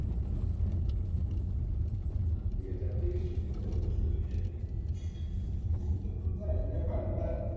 બે હજાર તેવિસ સુધીમાં તો બધું સુધરી જાય એટલે ફાયદો થાય